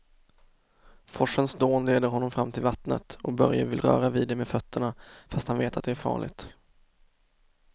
Forsens dån leder honom fram till vattnet och Börje vill röra vid det med fötterna, fast han vet att det är farligt.